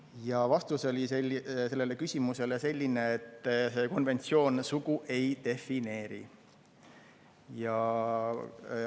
Ja vastus sellele küsimusele oli selline, et see konventsioon sugu ei defineeri.